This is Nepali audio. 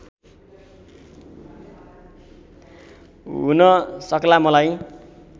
हुन सक्ला मलाई